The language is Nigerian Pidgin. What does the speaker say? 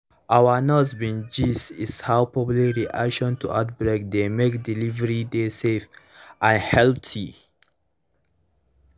our nurse bin gist is how public reaction to outbreak dey make delivery dey safe and healthy